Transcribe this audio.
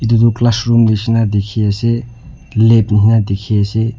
edu tu classroom nishena dikhi ase dikhi ase.